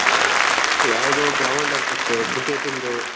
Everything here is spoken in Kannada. ಯಾವುದೊ ಗ್ರೌಂಡ್ ಅನಿಸುತ್ತೆ ಕ್ರಿಕೆಟ್ ಇಂದು.